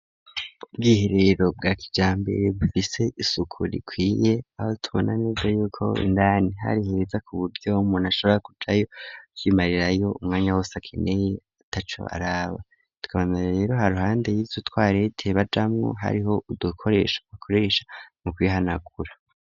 Ubwiherero bwa kijambere bufise isuku rikwiye aho tubona neza yuko indani hari heza kuburyo umuntu ashabora kujayo kwimarirayo umwanya wose akeneye ataco araba tukabaneza rero haruhande yizo twarete bajamwo hariho udukoresha bakoresha mu kwihanagura.